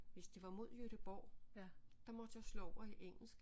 Hvis det var mod Göteborg der måtte jeg slå over i engelsk